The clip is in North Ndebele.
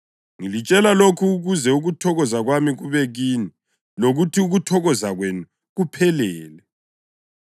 Ngilitshele lokhu ukuze ukuthokoza kwami kube kini lokuthi ukuthokoza kwenu kuphelele.